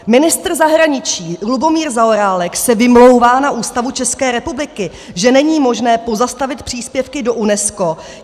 Ministr zahraničí Lubomír Zaorálek se vymlouvá na Ústavu České republiky, že není možné pozastavit příspěvky do UNESCO.